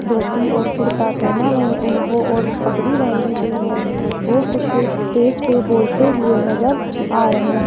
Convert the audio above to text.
धोती और कुर्ता पहना है उन वो और पगड़ी बांधी हुई है वो कुछ स्टेज पे बोलते हुए नजर आ रहे हैं।